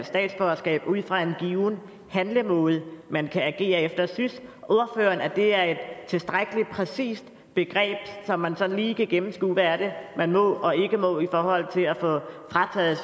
statsborgerskab ud fra en given handlemåde man kan agere efter synes ordføreren at det er et tilstrækkelig præcist begreb hvor man sådan lige kan gennemskue hvad det man må og ikke må i forhold til at få frataget